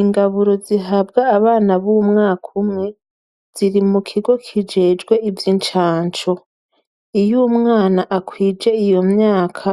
Ingaburo zihabwa abana b'umwaka umwe ziri mukigo kijejwe ivy'incanco. Iyo umwana akwije iyo myaka,